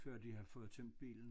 Før de har fået tømt bilen